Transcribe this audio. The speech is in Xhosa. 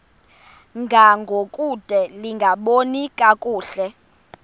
ngangokude lingaboni kakuhle